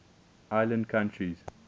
island countries